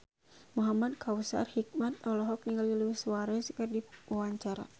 Muhamad Kautsar Hikmat olohok ningali Luis Suarez keur diwawancara